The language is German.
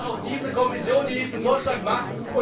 Ich warte auf diese Kommission, die diesen Vorschlag macht.